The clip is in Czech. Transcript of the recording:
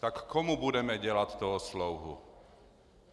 Tak komu budeme dělat toho slouhu?